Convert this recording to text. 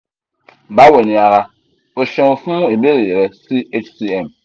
bawo ni ara o ṣeun fun ibeere rẹ si hcm